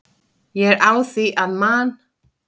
Ég er á því að Man.